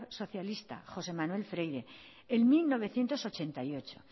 socialista josé manuel freire en mil novecientos ochenta y ocho